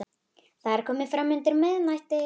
Það er komið fram undir miðnætti.